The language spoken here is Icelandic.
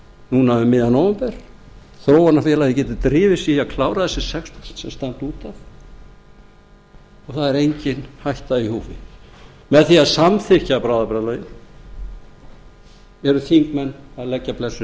núna um miðjan nóvember þróunarfélagið getur drifið sig í að klára þessi sex prósent sem standa út af og það er engin hætta í húfi með því að samþykkja bráðabirgðalögin eru þingmenn að leggja blessun